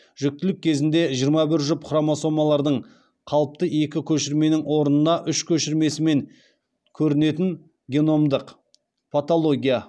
жүктілік кезінде жиырма бір жұп хромосомалардың қалыпты екі көшірменің орнына үш көшірмесімен көрінетін геномдық патология